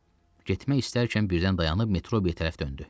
Getmək istərkən birdən dayanıb Metrobi tərəf döndü.